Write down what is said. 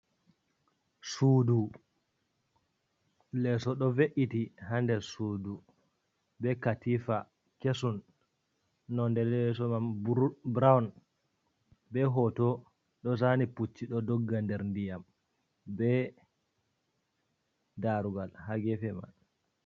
Sudu leeso ɗo ve’’iti ha nder sudu, be katifa kesum, nonde leeso man brown be hoto ɗo zani pucci ɗo dogga nder ndiyam be darugal ha gefe man.